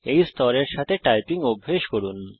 এই স্তরের সাথে টাইপিং অভ্যেস করুন